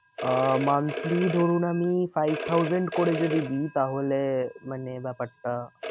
আহ monthly ধরুন আমি five thousand করে যদি দিই তাহলে মানে ব্যাপারটা